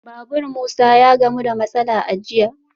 Babur Musa ya gamu da matsala a jiya